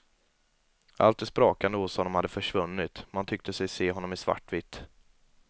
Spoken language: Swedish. Allt det sprakande hos honom hade försvunnit, man tyckte sig se honom i svartvitt.